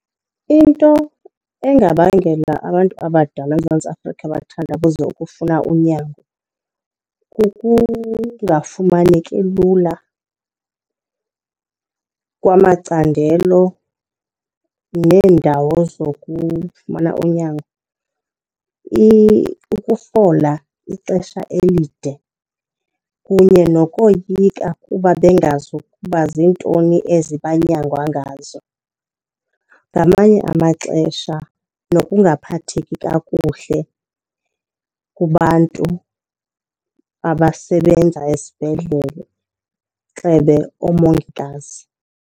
Into engabangela abantu abadala eMzantsi Afrika bathandabuze ukufuna unyango kukungafumaneki lula kwamacandelo neendawo zokufumana unyango, ukufola ixesha elide kunye nokoyika kuba bengazi ukuba ziintoni ezi banyangwa ngazo. Ngamanye amaxesha nokungaphatheki kakuhle kubantu abasebenza esibhedlele, gxebe oomongikazi.